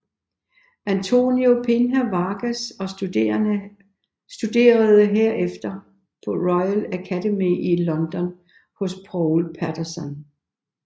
António Pinho Vargas og studerede herefter på Royal Academy i London hos Paul Patterson